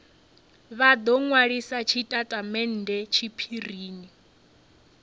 vha do nwalisa tshitatamennde tshiphirini